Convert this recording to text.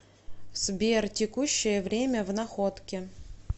сбер текущее время в находке